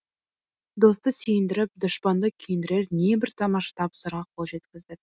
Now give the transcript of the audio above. досты сүйіндіріп дұшпанды күйіндірер небір тамаша табыстарға қол жеткіздік